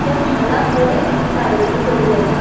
त्या महालाक बरी कारागिरी केल्ली असा.